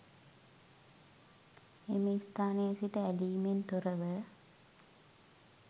එම ස්ථානයේ සිට ඇලීමෙන් තොර ව